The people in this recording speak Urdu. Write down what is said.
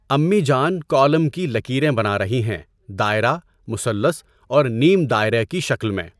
امی جان کالم کی لکیریں بنا رہی ہیں دائرہ، مثلث اور نیم دائرہ کی شکل میں۔